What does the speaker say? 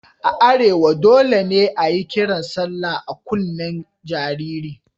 A arewa dole ne a yi kiran sallah a kunnen jaririn.